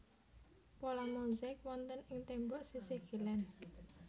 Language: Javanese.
Pola mozaik wonten ing tembok sisih kilèn